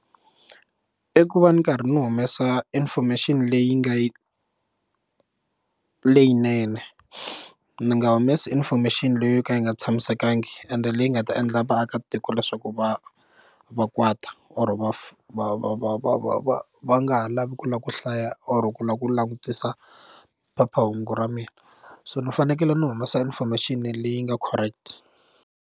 I ku va ni karhi ndzi humesa information leyi nga yi leyinene ni nga humesi information leyi yo ka yi nga tshamisekangi ende leyi nga ta endla vaakatiko leswaku va va kwata or va va va va va va va va nga ha lavi ku lava ku hlaya or ku lava ku langutisa phephahungu ra mina so ni fanekele ni huma information leyi nga correct.